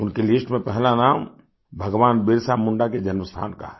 उनकी लिस्ट में पहला नाम भगवान बिरसा मुंडा के जन्मस्थान का है